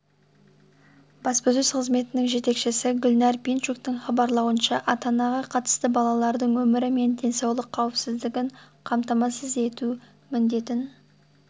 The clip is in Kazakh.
баспасөз қызметінің жетекшісі гүлнар пинчуктің хабарлауынша ата-анаға қатысты балалардың өмірі мен денсаулық қауіпсіздігін қамтамассыз ету міндетін